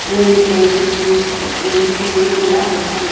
రెండు టేబుల్లు ఒక రెండు చైర్లు కూడా ఉన్నాయి.